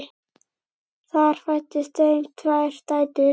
Þar fæddust þeim tvær dætur.